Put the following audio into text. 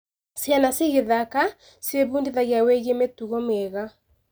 Ciana cigĩthaka, ciĩbundithagia wĩgiĩ mĩtugo mĩega.